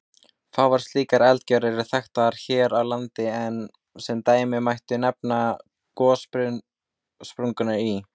Fáar slíkar eldgjár eru þekktar hér á landi, en sem dæmi mætti nefna gossprungurnar í